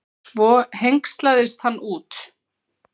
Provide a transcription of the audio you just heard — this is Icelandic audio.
Svo hengslaðist hann út.